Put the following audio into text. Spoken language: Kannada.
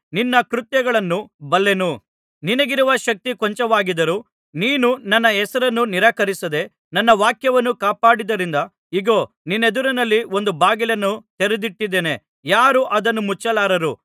ನಿನ್ನ ಕೃತ್ಯಗಳನ್ನು ಬಲ್ಲೆನು ನಿನಗಿರುವ ಶಕ್ತಿ ಕೊಂಚವಾಗಿದ್ದರೂ ನೀನು ನನ್ನ ಹೆಸರನ್ನು ನಿರಾಕರಿಸದೆ ನನ್ನ ವಾಕ್ಯವನ್ನು ಕಾಪಾಡಿದ್ದರಿಂದ ಇಗೋ ನಿನ್ನೆದುರಿನಲ್ಲಿ ಒಂದು ಬಾಗಿಲನ್ನು ತೆರೆದಿಟ್ಟಿದ್ದೇನೆ ಯಾರೂ ಅದನ್ನು ಮುಚ್ಚಲಾರರು